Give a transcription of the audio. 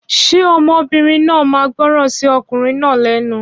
Ṣé ọmọbìnrin náà ma gbọràn sí okùnrin náà lénu?